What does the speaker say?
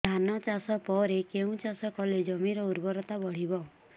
ଧାନ ଚାଷ ପରେ କେଉଁ ଚାଷ କଲେ ଜମିର ଉର୍ବରତା ବଢିବ